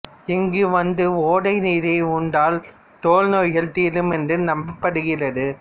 இங்கு வந்து ஓடை நீரை உண்டால் தோல் நோய்கள் தீரும் என்று நம்பபடுகிறது